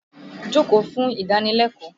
Jókòó fún ìdánilẹ́kọ̀ọ́!